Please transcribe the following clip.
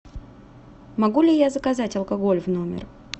могу ли я заказать алкоголь в номер